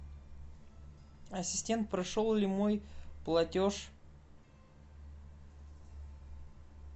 ассистент прошел ли мой платеж